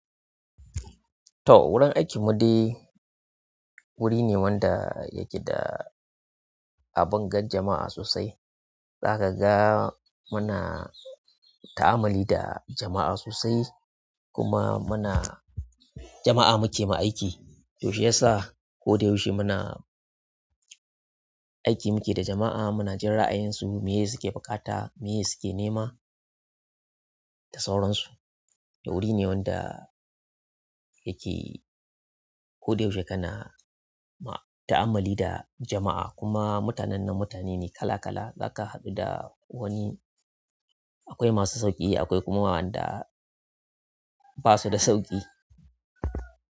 To, wurin aiki mu dai wuri ne wanda yake da abun ga jama'a sosai. Za kaga muna ta'ammali da jama'a sosai kuma muna jama'a muke wa aiki, to shi yasa ko da yaushe muna aiki muke da jama'a, muna jin ra'ayinsu, meye suke buƙata, meye suke nema da sauransu. Wuri ne wanda yake ko da yaushe kana ma-- ta'amali da jama'a. Kuma mutanen nan mutane ne kala kala. Za ka haɗu da wani, akwai masu sauƙi akwai kuma waɗanda ba su da sauƙi.